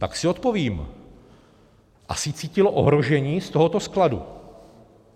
Tak si odpovím: asi cítilo ohrožení z tohoto skladu.